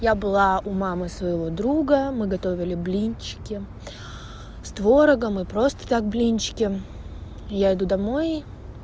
я была у мамы своего друга мы готовили блинчики с творогом и просто так блинчики я иду домой